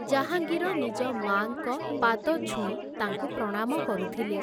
ଜାହାଙ୍ଗୀର ନିଜ ମାଆଙ୍କ ପାଦ ଛୁଇଁ ତାଙ୍କୁ ପ୍ରଣାମ କରୁଥିଲେ ।